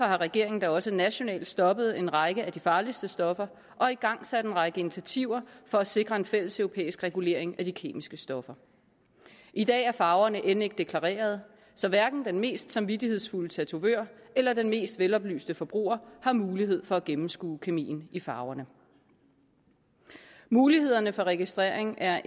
har regeringen da også nationalt stoppet en række af de farligste stoffer og igangsat en række initiativer for at sikre en fælleseuropæisk regulering af de kemiske stoffer i dag er farverne end ikke deklareret så hverken den mest samvittighedsfulde tatovør eller den mest veloplyste forbruger har mulighed for at gennemskue kemien i farverne muligheden for registrering er